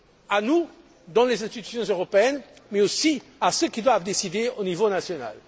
À nous, dans les institutions européennes, mais aussi à ceux qui doivent décider au niveau national.